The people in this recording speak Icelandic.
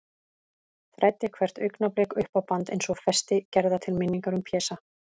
Þræddi hvert augnablik upp á band, eins og festi gerða til minningar um Pésa.